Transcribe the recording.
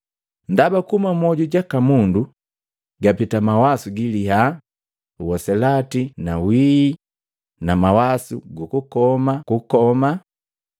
Ndaba kuhuma mmoju jaka mundu, gapita mawasu gililya na uselati na wihii na mawasu gukukoma kukoma,